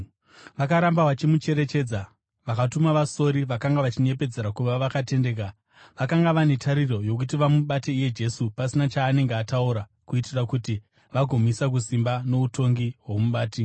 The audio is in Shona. Vakaramba vachimucherechedza, vakatuma vasori, vakanga vachinyepedzera kuva vakatendeka. Vakanga vane tariro yokuti vamubate iye Jesu pachinhu chaanenge ataura kuitira kuti vagomuisa kusimba noutongi hwomubati.